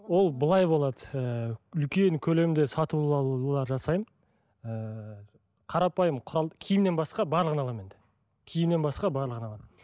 ол былай болады ыыы үлкен көлемде сатып алулар жасаймын ііі қарапайым құрал киімнен басқа барлығын аламын енді киімнен басқа барлығын аламын